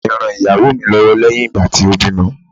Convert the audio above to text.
Ìyá mi ran ìyàwó mi lọ́wọ́ lẹ́yìn ìgbà tí ó bí ọmọ.